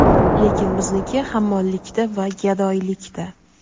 lekin bizniki hammollikda va gadoylikda.